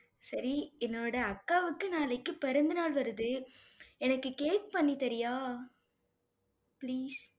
சரி, என்னோட அக்காவுக்கு நாளைக்கு பிறந்தநாள் வருது. எனக்கு cake பண்ணி தர்றியா? please